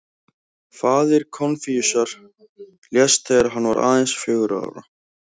Faðir Konfúsíusar lést þegar hann var aðeins fjögurra ára.